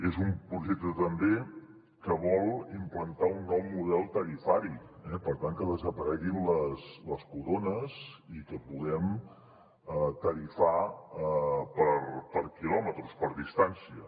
és un projecte també que vol implantar un nou model tarifari per tant que desapareguin les corones i que puguem tarifar per quilòmetres per distància